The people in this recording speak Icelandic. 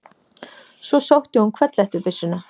Svo sótti hún hvellhettubyssuna.